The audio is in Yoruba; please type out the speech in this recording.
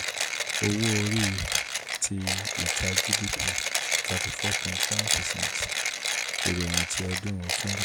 owo-ori ti ita/gdp: thirty four point seven percent iroyin ti ọdun